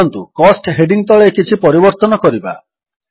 ଚାଲନ୍ତୁ cost heading ତଳେ କିଛି ପରିବର୍ତ୍ତନ କରିବା